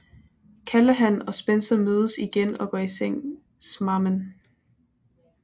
Callahan og Spencer mødes igen og går i seng smamen